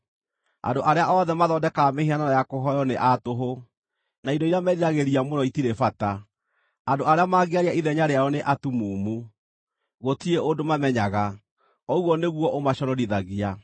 Andũ arĩa othe mathondekaga mĩhianano ya kũhooywo nĩ a tũhũ, na indo iria meriragĩria mũno itirĩ bata. Andũ arĩa mangĩaria ithenya rĩao nĩ atumumu; gũtirĩ ũndũ mamenyaga, ũguo nĩguo ũmaconorithagia.